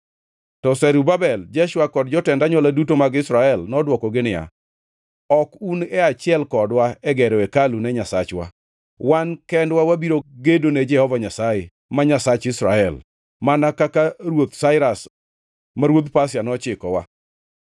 To Zerubabel, Jeshua kod jotend anywola duto mag Israel nodwokogi niya, “Ok un e achiel kodwa e gero hekalu ne Nyasachwa. Wan kendwa wabiro gedo ne Jehova Nyasaye, ma Nyasach Israel, mana kaka Ruoth Sairas, ma ruodh Pasia, nochikowa.”